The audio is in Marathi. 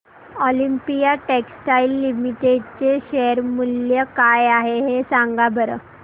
ऑलिम्पिया टेक्सटाइल्स लिमिटेड चे शेअर मूल्य काय आहे सांगा बरं